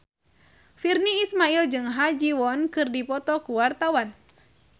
Virnie Ismail jeung Ha Ji Won keur dipoto ku wartawan